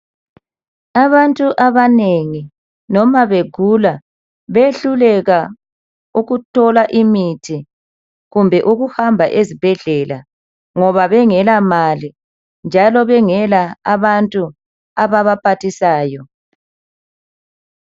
Abantu abanengi noma begula behluleka ukuthola imithi kumbe ukuhamba ezibhedlela ngoba bengela mali njalo bengela abantu ababaphathisayo.